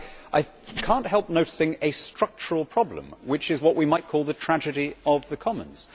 I cannot help noticing a structural problem, which is what we might call the tragedy of the commons.